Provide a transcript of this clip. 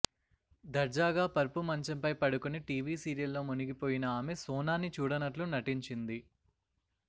దర్జాగా పరుపు మంచంపై పడుకుని టీవీ సీరియల్లో మునిగిపోయిన ఆమె సోనాని చూడనట్లు నటించింది